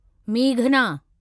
मेघना